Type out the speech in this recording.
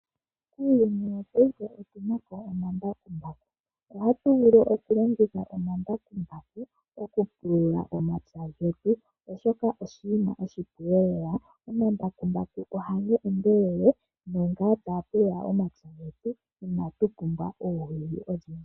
Muuyuni wongaashingeyi otu napo omambakumbaku, oha tu vulu okulongitha omambakumbaku okupulula omapya getu oshoka osho oshinima oshipu lela. Omambakumbaku oha ga endelele naamba ha tu pulula omapya inashi pumbwa oowili odhindji.